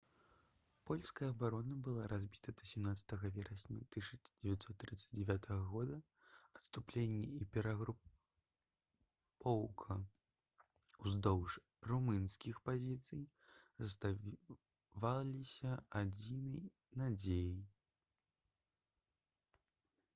польская абарона была разбіта да 17 верасня 1939 г адступленне і перагрупоўка ўздоўж румынскіх пазіцый заставаліся адзінай надзеяй